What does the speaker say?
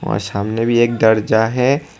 और सामने भी एक दर्जा है।